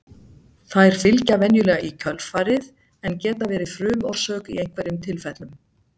þær fylgja venjulega í kjölfarið en geta verið frumorsök í einhverjum tilfellum